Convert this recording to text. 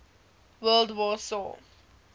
world war saw